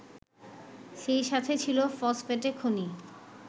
সেই সাথে ছিল ফসফেট খনি